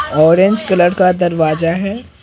Orange colour का दरवाजा है।